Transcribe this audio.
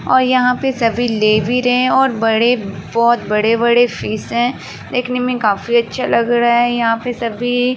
और यहाँ पे सभी ले भी रहे हैं और बड़े बोहोत बड़े-बड़े फिश हैं। देखने में काफी अच्छे लग रहे हैं। यहाँ पे सभी --